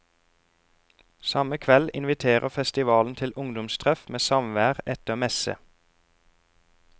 Samme kveld inviterer festivalen til ungdomstreff med samvær etter messe.